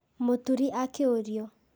Mũturi akĩũrio.